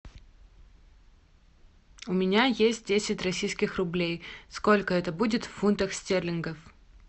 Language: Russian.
у меня есть десять российских рублей сколько это будет в фунтах стерлингов